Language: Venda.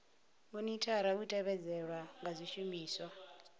monithara u tevhedzelwa ha zwishumiswa